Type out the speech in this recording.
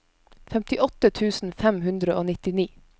femtiåtte tusen fem hundre og nittini